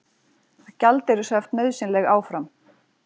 Gjaldeyrishöft nauðsynleg áfram